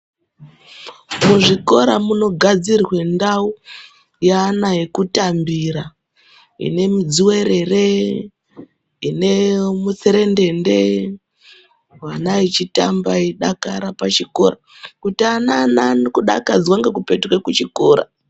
Muzvikora munogadzirwe ndau yeana yekutambira ine mIdzuwerere, ine mutserendende vana vechitamba veidakara pachikora kuti ana ane kudakadzwa ngekupetuka kuchikora.